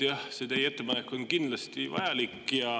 Jah, see teie ettepanek on kindlasti vajalik.